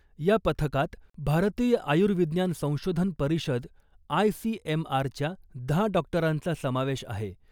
या पथकात भारतीय आयुर्विज्ञान संशोधन परिषद आयसीएमआरच्या दहा डॉक्टरांचा समावेश आहे .